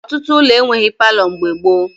Ọtụtụ ụlọ enweghi palọ mgbe gboo